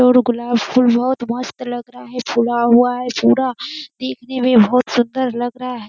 और गुलाब फूल बहोत मस्त लग रहा हैफुला हुआ है पूरा देखने में बहोत सूंदर लग रहा है।